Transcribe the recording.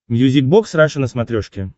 мьюзик бокс раша на смотрешке